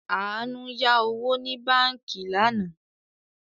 Àánú yá owó ní báànkì lánàá